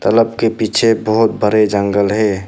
तालाब के पीछे बहुत बरे जंगल है।